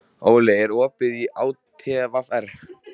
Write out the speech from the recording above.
Óli, er opið í ÁTVR?